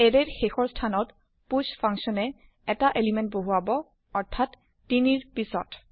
এৰে ৰ শেষৰ স্থান ত পুষ ফাংচন এ এটা এলিমেন্ট বহুৱাব অৰ্থাত ৩ ৰ পিছত